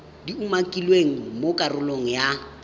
di umakilweng mo karolong ya